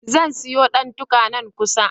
Zan siyo ɗantuka, nan kusa.